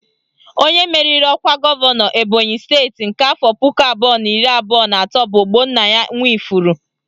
Onye meriri ọkwa gọvanọ Ebonyị steeti nke afọ puku abụọ na iri abụọ na atọ bụ Ogbonnaya Nwifuru